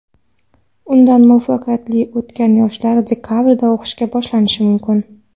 Undan muvaffaqiyatli o‘tgan yoshlar dekabrda o‘qishni boshlashi mumkin.